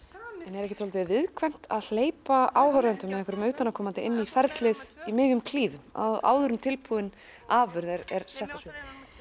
en er ekkert svolítið viðkvæmt að hleypa áhorfendum eða einhverjum utanaðkomandi inn í ferlið í miðjum klíðum áður en tilbúin afurð er sett á svið